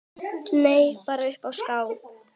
Nei, bara uppi á Skaga.